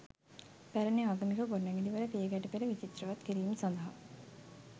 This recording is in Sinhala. පැරැණි ආගමික ගොඩනැඟිලිවල පියගැට පෙළ විචිත්‍රවත් කිරීම සදහා